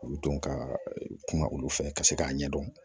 U don ka kuma olu fɛ ka se k'a ɲɛdɔn